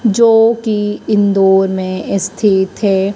जो की इंदौर में स्थित है।